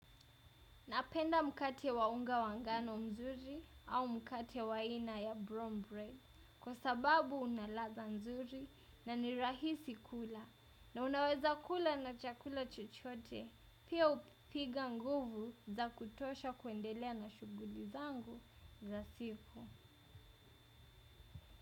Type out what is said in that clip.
Napenda mkate wa unga wa ngano mzuri au mkate wa aina ya brown bread kwa sababu una ladha nzuri na ni rahisi kula na unaweza kula na chakula chochote pia hunipa nguvu za kutosha kuendelea na shughuli zangu za siku.